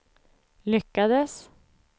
lyckades